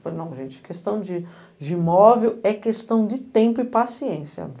Falei, não gente, questão de de imóvel é questão de tempo e paciência.